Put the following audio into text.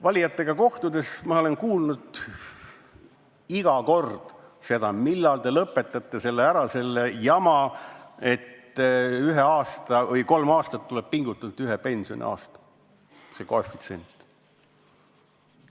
Valijatega kohtudes olen ma iga kord kuulnud neid küsimas: millal te lõpetate ära selle jama, et ühe pensioniaasta saamiseks tuleb kolm aastat pingutada?